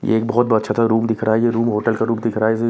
ये एक बहोत अच्छा सा रूम दिख रहा है ये रूम होटल का रूम दिख रहा है जी--